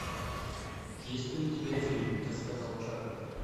есть ли у тебя фильм так сказал чарли